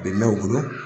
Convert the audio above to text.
Bɛ mɛn u bolo